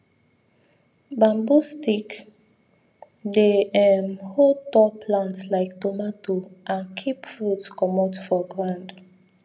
bamboo stick dey um hold tall plant like tomato and keep fruit comot for ground